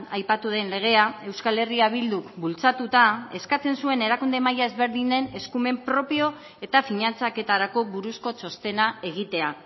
aipatu den legea euskal herria bilduk bultzatuta eskatzen zuen erakunde maila ezberdinen eskumen propio eta finantzaketarako buruzko txostena egitea